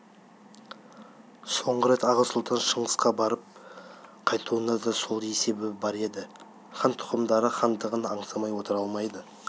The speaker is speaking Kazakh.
соңғы рет аға сұлтан шыңғысқа барып қайтуында да сол есебі бар еді хан тұқымдары хандығын аңсамай отыра алмайды